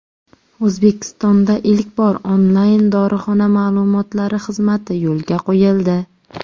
O‘zbekistonda ilk bor onlayn dorixona ma’lumotlari xizmati yo‘lga qo‘yildi!